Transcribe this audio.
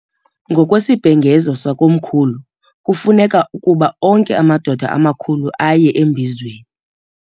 Ngokwesibhengezo sakomkhulu kufuneka ukuba onke amadoda amakhulu aye embizweni.